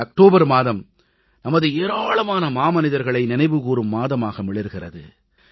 இந்த அக்டோபர் மாதம் நமது ஏராளமான மாமனிதர்களை நினைவுகூரும் மாதமாக மிளிர்கிறது